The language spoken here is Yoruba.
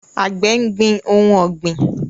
Àgbẹ̀ gbin ohun ọ̀gbìn